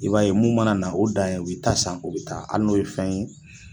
I b'a ye mun mana na o dan ye u b'i ta san u bɛ taa hali n'o ye fɛn ye